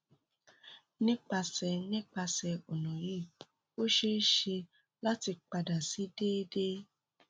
nipasẹ nipasẹ ọna yii o ṣee ṣe lati pada si deede